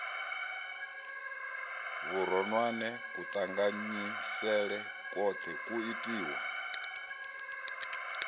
vhuronwane kuṱanganyisele kwoṱhe kwu itiwa